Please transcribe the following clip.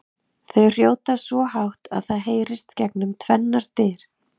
Þau hrjóta svo hátt að það heyrist gegnum tvennar dyr!